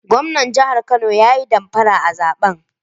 Gwamnan jihar Kano ya damfara a zaben